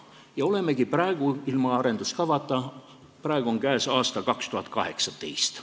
Ja olemegi ilma arengukavata, praegu on käes aasta 2018.